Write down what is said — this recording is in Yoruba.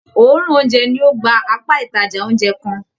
Òòrùn oúnjẹ ní o gbà apá ìtajà oúnjẹ kán.